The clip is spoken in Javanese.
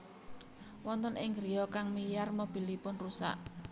Wonten ing griya kang wiyar mobilipun rusak